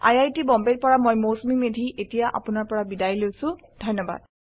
I I T Bombay ৰ পৰা মই মৌচুমী মেধী এতিয়া আপুনাৰ পৰা বিদায় লৈছো যোগদানৰ বাবে ধন্যবাদ